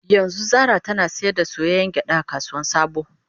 Yanzu Zara tana sayar da soyayyen gyada a kasuwar sabo